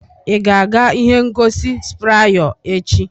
Ị ga-aga ihe ngosi Spryo echi?